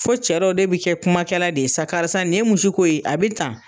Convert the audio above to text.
Fo cɛ dɔ bɛ kɛ kumakɛla de ye sa karisa nin ye mun si ko ye? A bɛ tan.